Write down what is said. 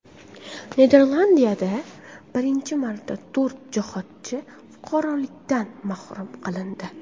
Niderlandiyada birinchi marta to‘rt jihodchi fuqarolikdan mahrum qilindi.